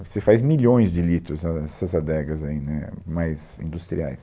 Você faz milhões de litros ah nessas adegas aí né mais industriais.